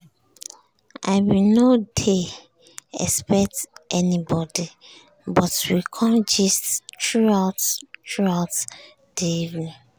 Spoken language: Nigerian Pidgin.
i bin nor dey expect anybody but we com gist throughout throughout di evening.